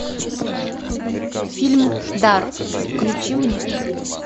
фильм дар включи мне